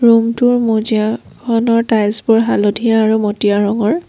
ৰূমটোৰ মজিয়াখনৰ টাইলছবোৰ হালধীয়া আৰু মটীয়া ৰঙৰ।